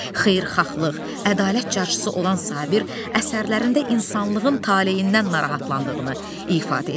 Xeyirxahlıq, ədalət carçısı olan Sabir əsərlərində insanlığın taleyindən narahatlandığını ifadə edir.